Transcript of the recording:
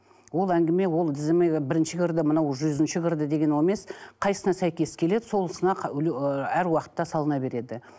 ол әңгіме ол тізімге бірінші кірді мынау жүзінші кірді деген ол емес қайсысына сәйкес келеді сол сынақ ы әр уақытта салына береді